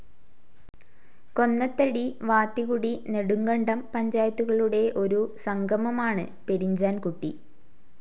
Konnathady, Vathikudy, Nedumkandam പഞ്ചായത്തുകളുടെ ഒരു സംഗമമാണ് പെരിഞ്ചാൻ കുട്ടി.